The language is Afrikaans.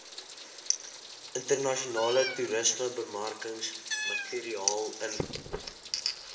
internasionale toerismebemarkingsmateriaal invul